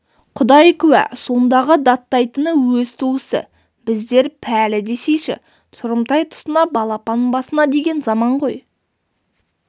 құдай куә сондағы даттайтыны өз туысы біздер пәлі десейші тұрымтай тұсына балапан басына деген заман ғой